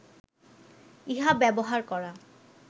ইহা ব্যবহার করা